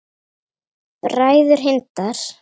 Bræður Hindar